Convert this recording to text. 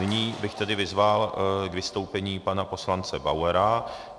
Nyní bych tedy vyzval k vystoupení pana poslance Bauera.